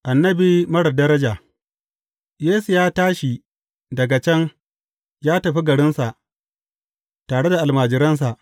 Annabi marar daraja Yesu ya tashi daga can ya tafi garinsa, tare da almajiransa.